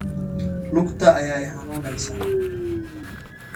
Lugta ayaa i xanuunaysa.